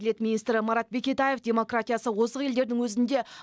әділет министрі марат бекетаев демократиясы озық елдердің өзінде